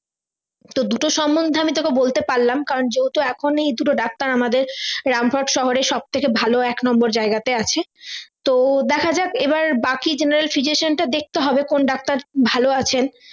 তো দুটো সমন্ধে আমি তোকে বলতে পারলাম কারণ যেহুতো এখনই এই দুটো ডাক্তার আমাদের রামপুরহাট শহরের সব থেকে ভালো এক নম্বরে জায়গাতে আছে তো দেখা যাক এবার বাকি general physician টা দেখতে হবে কোন ডাক্তার ভালো আছেন